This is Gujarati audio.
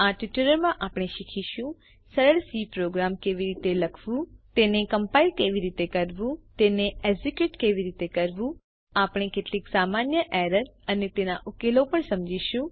આ ટ્યુટોરીયલ માં આપણે શીખીશું સરળ સી પ્રોગ્રામ કેવી રીતે લખવું તેને કમ્પાઇલ કેવી રીતે કરવું તેને એક્ઝેક્યુટ કેવી રીતે કરવું આપણે કેટલીક સામાન્ય એરર અને તેના ઉકેલો પણ સમજીશું